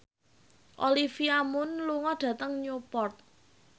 Olivia Munn lunga dhateng Newport